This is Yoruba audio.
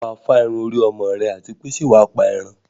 Ṣé wà á fá irun orí ọmọ rẹ àti pé ṣẹ́ wà á pa ẹran?